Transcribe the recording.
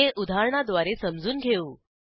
हे उदाहरणाद्वारे समजून घेऊ